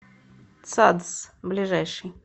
цадс ближайший